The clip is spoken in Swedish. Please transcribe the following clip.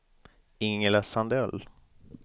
Ingela Sandell